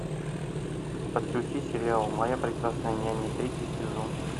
подключи сериал моя прекрасная няня третий сезон